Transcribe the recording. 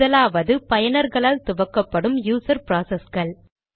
முதலாவது பயனர்களால் துவக்கப்படும் யூசர் ப்ராசஸ்கள்